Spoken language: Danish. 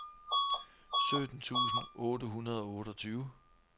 sytten tusind otte hundrede og otteogtyve